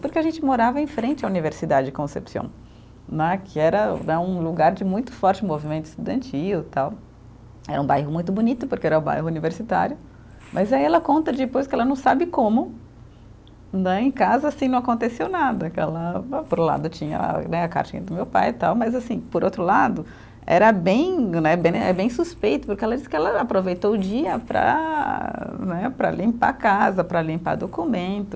Porque a gente morava em frente à Universidade de Concepción né, que era né, um lugar de muito forte movimento estudantil tal, era um bairro muito bonito porque era o bairro universitário, mas aí ela conta depois que ela não sabe como né, em casa assim não aconteceu nada por um lado tinha né a do meu pai tal, mas assim, por outro lado era bem né é bem suspeito porque ela disse que ela aproveitou o dia para né, para limpar a casa para limpar documento